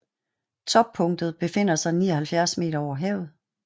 Toppunktet befinder sig 79 meter over havet